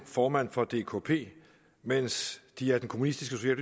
formand for dkp mens de af det kommunistiske